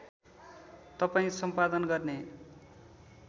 तपाईँ सम्पादन गर्ने